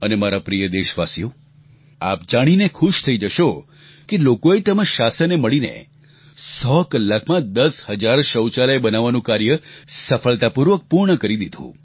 અને મારા પ્રિય દેશવાસીઓ આપ જાણીને ખુશ થઈ જશો કે લોકોએ તેમજ શાસને મળીને 100 કલાકમાં દસ હજાર શૌચાલય બનાવવાનું કાર્ય સફળતાપૂર્વક પૂર્ણ કરી દીધું